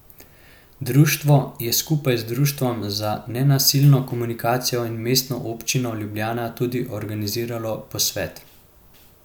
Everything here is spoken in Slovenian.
Društvo je skupaj z Društvom za nenasilno komunikacijo in Mestno občino Ljubljana tudi organiziralo posvet.